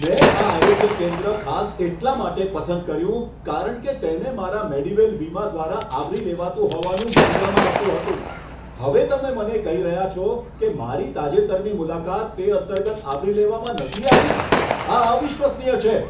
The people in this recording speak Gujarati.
મેં આ આરોગ્ય કેન્દ્ર ખાસ એટલા માટે પસંદ કર્યું કારણ કે તેને મારા મેડીવેલ વીમા દ્વારા આવરી લેવાતું હોવાનું માનવામાં આવતું હતું. હવે તમે મને કહી રહ્યા છો કે મારી તાજેતરની મુલાકાત તે અંતર્ગત આવરી લેવામાં નથી આવી? આ અવિશ્વસનીય છે!